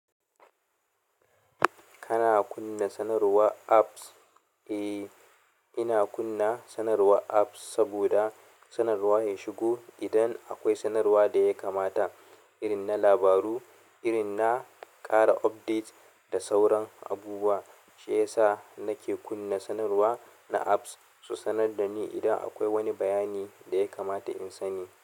Kana kunna sanarwa apps? Eh, ina kunna sanarwa apps saboda sanarwa ya shigo. Idan akwai sanarwa da yakamata, irin na labaru, irin na ƙara updates da sauran abubuwa, shiyasa nake kunna sanarwa na apps, su sanar da ni idan akwai wani bayani da yakamata in sani.